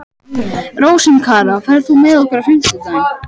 Rósinkara, ferð þú með okkur á fimmtudaginn?